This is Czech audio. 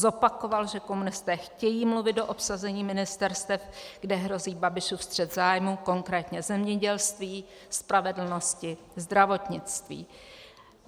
Zopakoval, že komunisté chtějí mluvit do obsazení ministerstev, kde hrozí Babišův střet zájmů, konkrétně zemědělství, spravedlnosti, zdravotnictví.